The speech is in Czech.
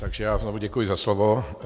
Takže já znovu děkuji za slovo.